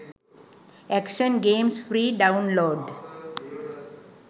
action games free download